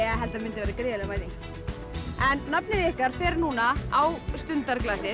held að myndi verða gríðarleg mæting en nafnið ykkar fer núna á